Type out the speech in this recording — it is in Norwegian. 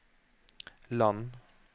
land